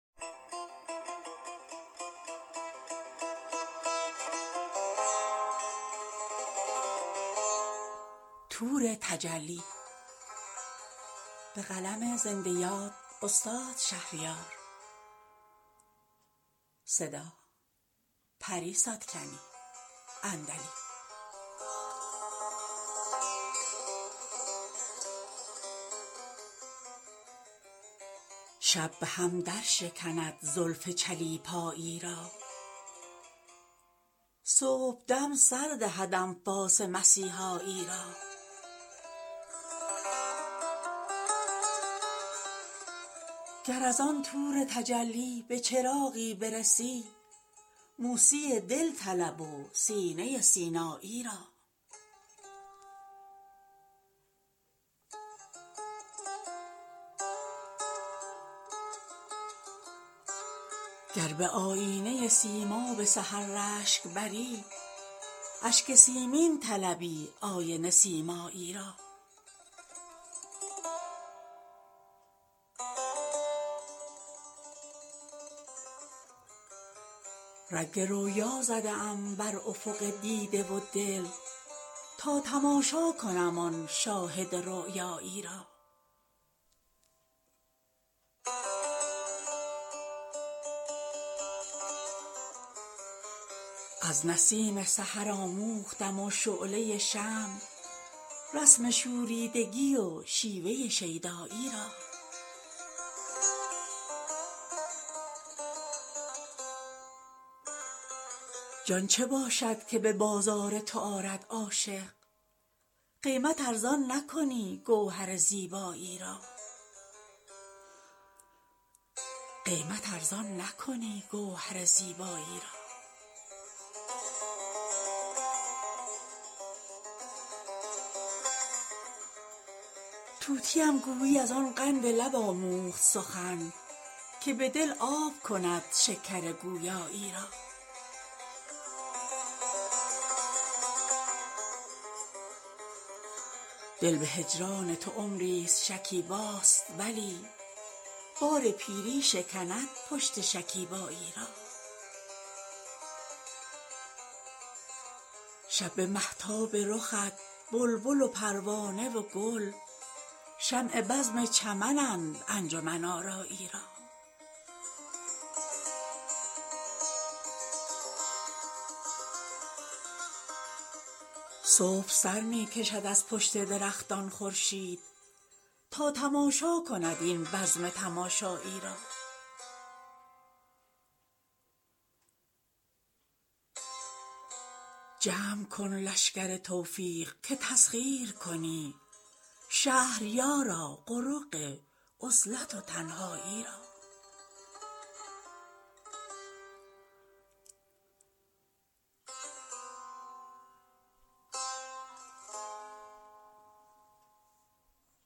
شب به هم درشکند زلف چلیپایی را صبحدم سردهد انفاس مسیحایی را گر از آن طور تجلی به چراغی برسی موسی دل طلب و سینه سینایی را گر به آیینه سیماب سحر رشک بری اشک سیمین طلبی آینه سیمایی را رنگ رؤیا زده ام بر افق دیده و دل تا تماشا کنم آن شاهد رؤیایی را ناشناسی و چنین شیفته ام ساخته ای وای اگر باز کنی روی شناسایی را از نسیم سحر آموختم و شعله شمع رسم شوریدگی و شیوه شیدایی را پوست تختی و سبویی و کتابی شمعی پر کند چاله درویشی و دارایی را جان چه باشد که به بازار تو آرد عاشق قیمت ارزان نکنی گوهر زیبایی را نیش و نوش است جهان خوش به هم انداخته اند لذت عاشقی و ذلت رسوایی را در دماغ من شوریده چه سودا انگیخت آنکه با زلف تو آموخت سمن سایی را سرو خواهد که به بالای تو ماند مسکین کاین همه مشق کند شوخی و رعنایی را طوطیم گویی از آن قند لب آموخت سخن که به دل آب کند شکر گویایی را دل به هجران تو عمریست شکیباست ولی بار پیری شکند پشت شکیبایی را گوهر عشق توام حوصله دریا خواهد گوهری خواهمت این حوصله دریایی را ساز مرغ سحرم درس ارسطویی بود حکمت آموختی این طفل الفبایی را شب به مهتاب رخت بلبل و پروانه و گل شمع بزم چمنند انجمن آرایی را صبح سرمی کشد از پشت درختان خورشید تا تماشا کند این بزم تماشایی را جمع کن لشکر توفیق که تسخیر کنی شهریارا قرق عزلت و تنهایی را